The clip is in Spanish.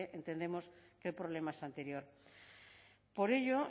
entendemos que el problema es anterior por ello